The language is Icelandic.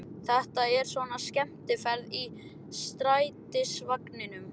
Þetta er svona skemmtiferð í strætisvagninum!